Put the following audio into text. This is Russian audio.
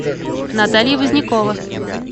наталья вознякова